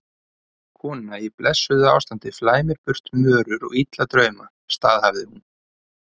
Kona í blessuðu ástandi flæmir burt mörur og illa drauma, staðhæfði hún.